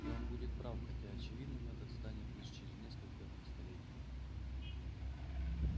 и он будет прав хотя очевидным это станет лишь через несколько столетий